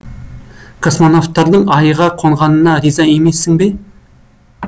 космонавттардың айға қонғанына риза емессің бе